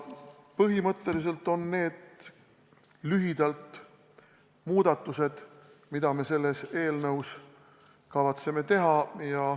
Põhimõtteliselt on need lühidalt muudatused, mida me selles eelnõus kavatseme teha.